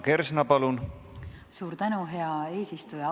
Suur tänu, hea eesistuja!